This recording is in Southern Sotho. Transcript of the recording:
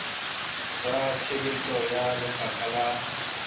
tsa tshebetso ya lefapha la